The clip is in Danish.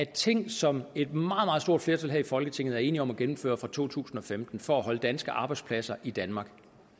ting som et meget meget stort flertal her i folketinget er enige om at gennemføre fra to tusind og femten for at holde danske arbejdspladser i danmark